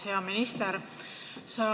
Hea minister!